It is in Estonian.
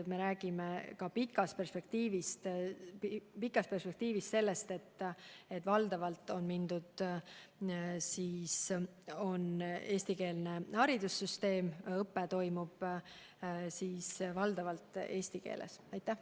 Me räägime ka pikas perspektiivis sellest, et haridussüsteem on valdavalt eestikeelne ja õpe toimub valdavalt eesti keeles.